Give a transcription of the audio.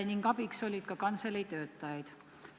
Ning abiks oli ka kantseleitöötajaid.